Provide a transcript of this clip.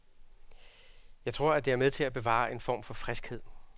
Jeg tror, at det er med til at bevare en form for friskhed.